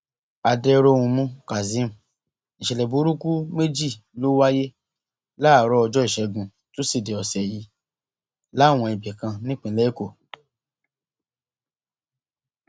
adẹróhunmú kazeem ìṣẹlẹ burúkú méjì ló wáyé láàárọ ọjọ ìṣẹgun tusidee ọsẹ yìí láwọn ibì kan nípìnlẹ èkó